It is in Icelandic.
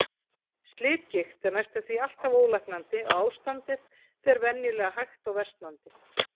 Slitgigt er næstum því alltaf ólæknandi og ástandið fer venjulega hægt versnandi.